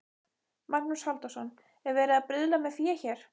Magnús Halldórsson: Er verið að bruðla með fé hér?